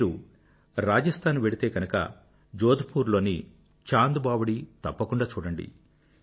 మీరు రాజస్థాన్ వెళ్తే గనుక జోధ్ పూర్ లోని చాంద్ బావడీ తప్పకుండా చూడండి